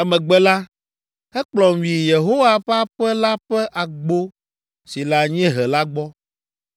Emegbe la, ekplɔm yi Yehowa ƒe aƒe la ƒe agbo si le anyiehe la gbɔ,